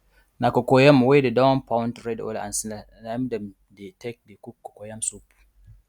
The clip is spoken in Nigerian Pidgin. na cocoyam wey dey don pound red oil and snail na im dem dey take dey cook cocoyam soup